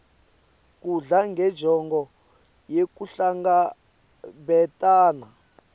kudla ngenjongo yekuhlangabetana